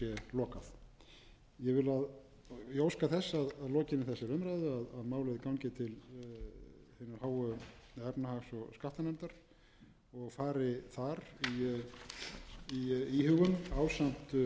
lokað ég óska þess að að lokinni þessari umræðu gangi málið til efnahags og skattanefndar og fari þar í íhugun ásamt frumvarpi fjármálaráðherra í gær